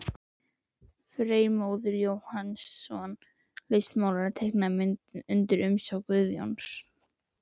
Freymóður Jóhannsson, listmálari, teiknaði myndina undir umsjá Guðjóns.